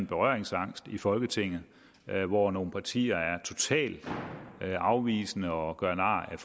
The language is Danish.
berøringsangst i folketinget hvor nogle partier er totalt afvisende og gør nar af